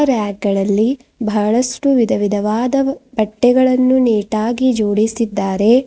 ರಾಕ್ಗ ಳಲ್ಲಿ ಬಹಳಷ್ಟು ವಿಧವಿಧವಾದ ಬಟ್ಟೆಗಳನ್ನು ನೀಟಾಗಿ ಜೋಡಿಸಿದ್ದಾರೆ.